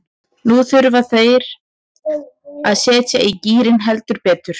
Nú þurfa þær að setja í gírinn, heldur betur.